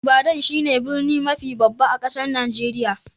Ibadan shine birni mafi babba a'kasan Nijeriya.